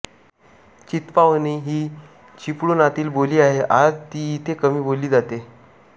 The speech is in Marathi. चित्पावनी ही चिपळुणातील बोली आहे आज ती इथे कमी बोलली जाते